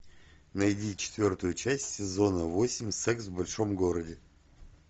найди четвертую часть сезона восемь секс в большом городе